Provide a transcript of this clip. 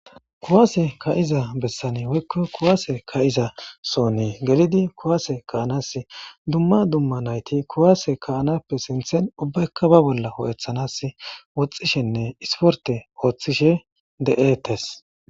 kuwaase ka7iza bessani woykko kuwaase ka7iza soonii gelidi kuwaase kaa7nas dumma dumma nayti kuwaase kaanappe sinthen ubbekka ba bolla ho7ethanas woxxishenne isporte ooththishe de7etes